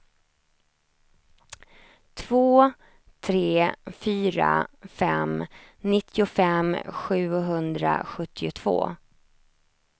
två tre fyra fem nittiofem sjuhundrasjuttiotvå